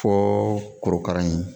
Fo korokara in